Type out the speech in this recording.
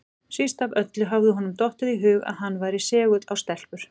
Síst af öllu hafði honum dottið í hug að hann væri segull á stelpur!